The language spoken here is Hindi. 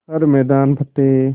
हर मैदान फ़तेह